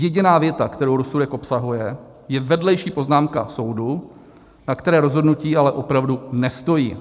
Jediná věta, kterou rozsudek obsahuje, je vedlejší poznámka soudu, na které rozhodnutí ale opravdu nestojí.